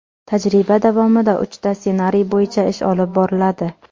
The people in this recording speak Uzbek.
Tajriba davomida uchta ssenariy bo‘yicha ish olib boriladi.